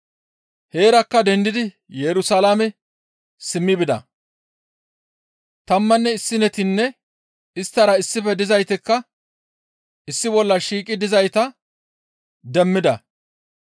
Heerakka dendidi Yerusalaame simmi bida; tammanne issinetinne isttara issife dizaytikka issi bolla shiiqi dizayta demmida.